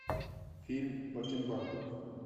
фильм бакенбарды